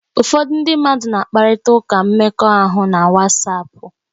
Ụfọdụ ndị mmadụ na-akparịta ụka mmekọahụ na Wasapu